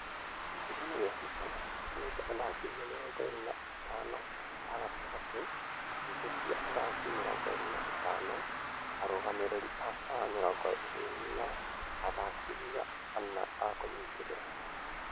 Kĩũngano gia fifa nĩyamũrĩte athakithia mĩrongo ĩrĩ na atano a gatagatĩ , ateithereria athakithia mĩrongo itano, arũgamĩrĩri a var mĩrongo ĩrĩ na athakithia ana a kũnyiterera.